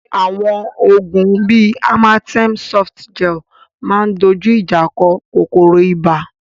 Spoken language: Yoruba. Àwọn oògùn bí Amatem Softgel máa ń dojú ìjà kọ kòkòrò ibà